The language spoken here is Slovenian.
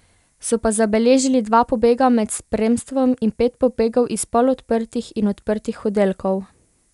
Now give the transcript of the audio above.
So pa zabeležili dva pobega med spremstvom in pet pobegov iz polodprtih in odprtih oddelkov.